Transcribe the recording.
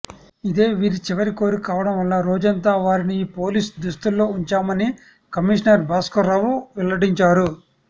ఇదే వీరి చివరి కోరిక కావడం వల్ల రోజంతా వారిని ఈ పోలీస్ దుస్తుల్లో ఉంచామని కమిషనర్ భాస్కర్రావు వెల్లడించారు